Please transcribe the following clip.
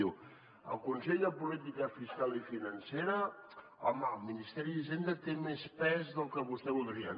diu al consell de política fiscal i financera home el ministeri d’hisenda té més pes del que vostè voldria